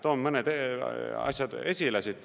Toon mõned asjad esile.